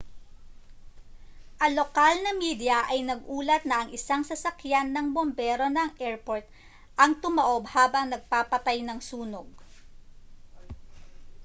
ang lokal na media ay nag-ulat na ang isang sasakyan ng bombero ng airport ang tumaob habang nagpapatay ng sunog